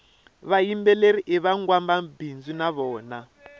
vayimbeleri ivangwamabindzu navona